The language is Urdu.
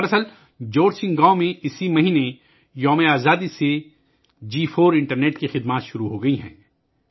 دراصل، جورسنگ گاؤں میں اس ماہ یوم ِآزادی کے دن سے 4 جی انٹرنیٹ خدمات شروع ہو گئی ہیں